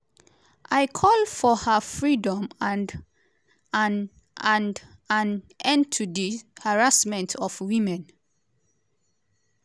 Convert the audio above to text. i call for her freedom and an and an end to di harassment of women.”